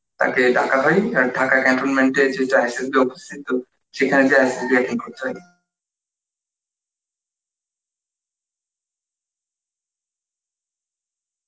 তাকে ডাকা হয় আর Dhaka contonment এ যেই ISSB office থাকত সেখানে গিয়ে ISSB attend করতে হয়